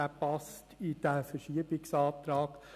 Er passt in den Verschiebungsantrag.